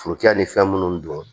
Forokɛ ni fɛn munnu don